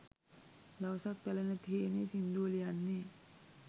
දවසක් පැල නැති හේනේ සිංදුව ලියන්නේ